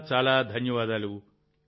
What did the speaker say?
చాలా చాలా ధన్యవాదాలు